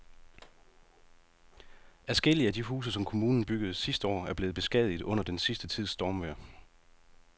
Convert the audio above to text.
Adskillige af de huse, som kommunen byggede sidste år, er blevet beskadiget under den sidste tids stormvejr.